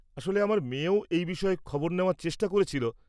আসলে, আমার মেয়েও এই বিষয়ে খবর নেওয়ার চেষ্টা করেছিল।